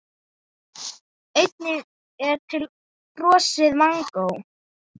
Einnig er til frosið mangó.